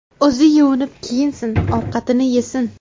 O‘zi yuvinib kiyinsin, ovqatini yesin.